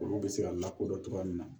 Olu bɛ se ka lakodɔn cogoya min na